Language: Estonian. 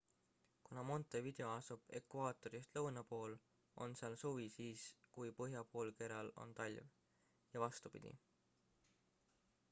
kuna montevideo asub ekvaatorist lõuna pool on seal suvi siis kui põhjapoolkeral on talv ja vastupidi